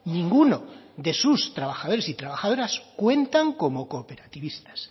ninguno de sus trabajadores y trabajadoras cuentan como cooperativistas